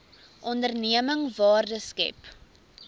onderneming waarde skep